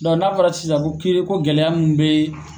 n'a fɔra sisan ko ke ko gɛlɛya mun bɛ